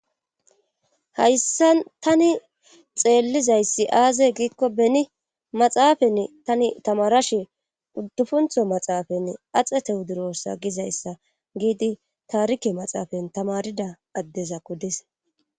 hayssan tani xeellizayssi aazey giikko beni maxaafenne tani tamarashe uddufuntho maxaafanne axetehu durossa gizayssa giidi taarike maxaafan tamarida addeza kodis